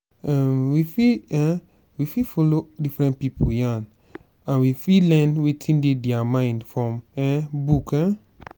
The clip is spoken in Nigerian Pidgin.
um we fit um we fit follow different pipo yarn and we fit learn wetin dey their mind from um book um